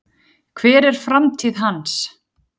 Hver er framtíð hans?